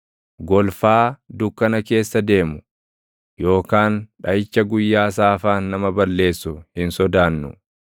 golfaa dukkana keessa deemu, yookaan dhaʼicha guyyaa saafaan nama balleessu hin sodaannu.